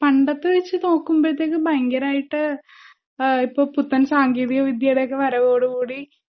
പണ്ടത്തെവെച്ച്നോക്കുമ്പോഴത്തേക്കും പയങ്കരായിട്ട് ആഹ് ഇപ്പൊ പുത്തൻ സാങ്കേതികവിദ്ധ്യേടൊക്കെ വരവോടുകൂടി